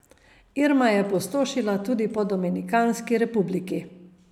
Irma je pustošila tudi po Dominikanski republiki.